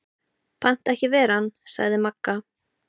Pant ekki ver ann, sagði Magga.